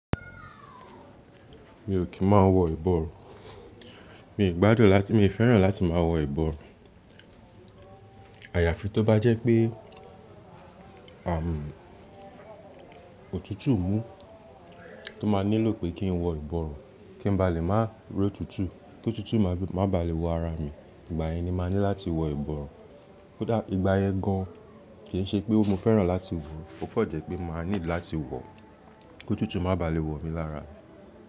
Mi ò kí má wọ ìbọ̀run. Mi ò gbádùn láti, mi ò fẹ́ràn láti má wọ ìbọ̀rù. Àyàfi tó bá jẹ́ pé, àmù òtútù mú tó má nílò pé kí n wọ ìbọ̀rùn, kí n ba lè má ró tutù, kí òtútù má ba lè wọ ara mi. Ìgbà yẹn ni ma ní láti wọ ìbọ̀rùn. Ko dá, ìgbà yẹn gan, an kì í ṣe pé mo fẹ́ràn láti wọ, ó fọ̀jẹ́ pé màá ní láti wọ, kí òtútù má ba lè wọ̀ mi lára mi.